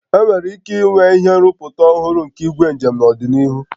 Enwere ike inwe ihe nrụpụta ọhụrụ nke igwe njem n'ọdịnihu